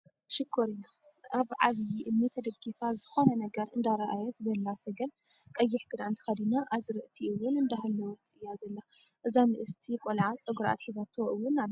ሽኮሪና! ኣብ ዓብዩ እምኒ ተደጊፋ ዝኮነ ነገር እንዳረኣየት ዘላ ሰገን ቀይሕ ክዳን ተከዲና ኣዝርእቲ እውን እንዳሃለወት እያ ዘላ ።እዛ ንእስቲ ቆልዓ ፀጉራ ኣትሒዛቶ እወን ኣላ።